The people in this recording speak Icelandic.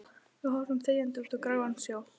Við horfum þegjandi út á gráan sjó.